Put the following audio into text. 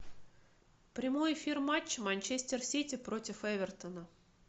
прямой эфир матча манчестер сити против эвертона